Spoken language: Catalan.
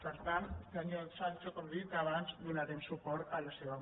per tant senyor sancho com li he dit abans donarem suport a la seva moció